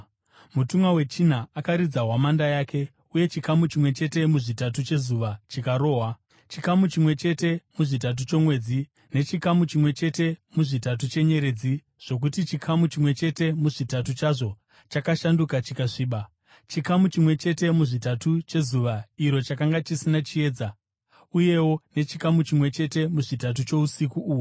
Mutumwa wechina akaridza hwamanda yake, uye chikamu chimwe chete muzvitatu chezuva chikarohwa, chikamu chimwe chete muzvitatu chomwedzi, nechikamu chimwe chete muzvitatu chenyeredzi, zvokuti chikamu chimwe chete muzvitatu chazvo chakashanduka chikasviba. Chikamu chimwe chete muzvitatu chezuva iro chakanga chisina chiedza, uyewo nechikamu chimwe chete muzvitatu chousiku uhwo.